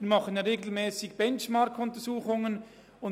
Wir führen regelmässig Benchmark-Untersuchungen durch.